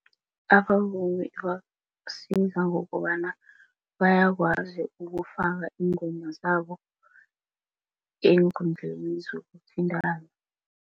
Abavumi isiza ngokobana bakwazi ukufaka iingoma zabo eenkundleni zokuthintana.